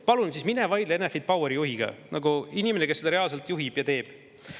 Palun, mine vaidle siis Enefit Poweri juhiga, inimesega, kes seda reaalselt juhib ja teeb.